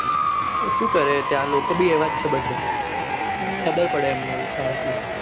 તો સુ કરે ત્યાં લોકો બી એવા છે બધા ખબર પડે એમને આવું થાય એટલે